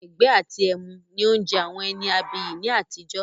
“Ẹran-ìgbẹ́ àti ẹmu” ni oúnjẹ àwọn ẹni abiyì ni àtijọ́